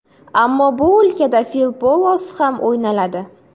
Ammo bu o‘lkada fil polosi ham o‘ynaladi.